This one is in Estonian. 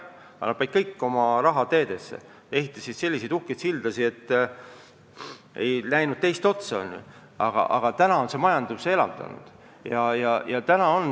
Nad panid kogu oma raha teedesse, ehitasid selliseid uhkeid sildasid, et ei näe teist otsa, aga nüüdseks on see majanduse elavdanud.